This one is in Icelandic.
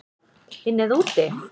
Inni eða úti?